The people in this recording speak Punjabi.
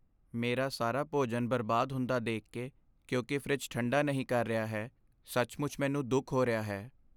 ਮੇਰਾ ਸਾਰਾ ਭੋਜਨ ਬਰਬਾਦ ਹੁੰਦਾ ਦੇਖ ਕੇ ਕਿਉਂਕਿ ਫਰਿੱਜ ਠੰਢਾ ਨਹੀਂ ਕਰ ਰਿਹਾ ਹੈ, ਸੱਚਮੁੱਚ ਮੈਨੂੰ ਦੁੱਖ ਹੋ ਰਿਹਾ ਹੈ।